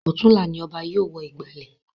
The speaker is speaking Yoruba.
Ọ̀tunla ni Ọba yóò wọ ìgbàlẹ̀